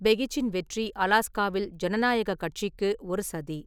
பெகிச்சின் வெற்றி அலாஸ்காவில் ஜனநாயகக் கட்சிக்கு ஒரு சதி.